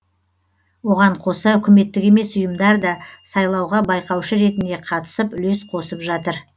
оған қоса үкіметтік емес ұйымдар да сайлауға байқаушы ретінде қатысып үлес қосып жатыр